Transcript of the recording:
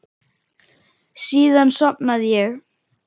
Síðan sofnaði ég.